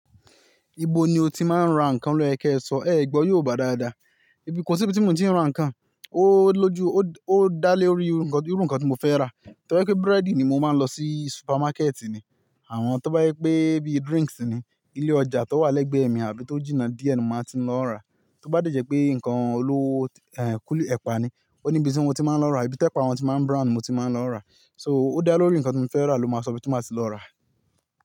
Ibo ni o ti máa ń ra nǹkan lóyẹ ki ẹsọ ẹ̀egbó yorùbá dáadáa. Ibi, kò sí ibi tí mi o ti ń ra nǹkan, ó lóju, ó dá lé orí irú nǹkan tí mo fẹ́ rà. Tí bá je wipé búrẹ́dì ni mo máa ń lọ sí supamákẹ̀tì ni, àmo to je wipe bíi drinks ni, ilé ọjà tó wà lẹ́gbẹ̀ẹ́ mi àbí tó jìnnà díẹ̀ ni mo màá ti n lọ ra. Tí ó bá dẹ̀jẹ́ pé nǹkan olówó, ẹ́ kuli, epa ni òní ibi tí mo ti máa ń lọ ra, ibi tí ẹpa wọn tí máa ń brown ni mo ti máa ń lọ ra. So ó dá lorí nǹkan tí mo fẹ́ rà ló máa sọ ibi tí mo máa ti lọ rà.